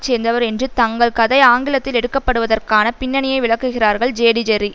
சேர்ந்தவர் என்று தங்கள் கதை ஆங்கிலத்தில் எடுக்கப்படுவதற்கான பின்னணியை விளக்குகிறார்கள் ஜேடிஜெர்ரி